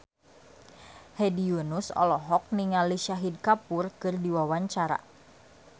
Hedi Yunus olohok ningali Shahid Kapoor keur diwawancara